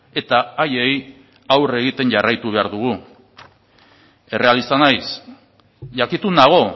eta haiei aurre egiten jarraitu behar dugu errealista naiz jakitun nago